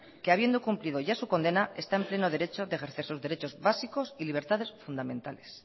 que habiendo cumplido ya su condena está en pleno derecho de ejercer sus derechos básicos y libertades fundamentales